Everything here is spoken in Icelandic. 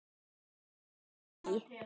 Kveikir í.